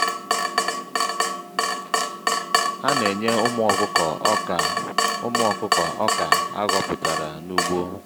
ana-eñye ụmụ ọkụkọ ọkà ụmụ ọkụkọ ọkà aghọpụtara n'ugbo